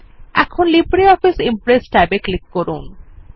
এখন LibreOffice Impress tab এ click করুন